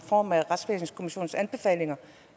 form af retsvæsenskommissionens anbefalinger